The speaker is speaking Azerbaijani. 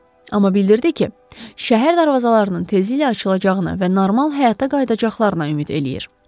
Amma bildirdi ki, şəhər darvazalarının tezlə açılacağını və normal həyata qayıdacaqlarına ümid eləyir.